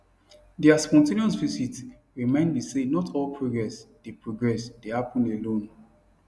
their spontaneous visit remind me say not all progress dey progress dey happen alone